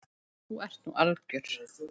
Þú ert nú alger!